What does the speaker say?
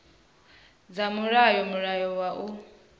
dza mulayo mulayo wa u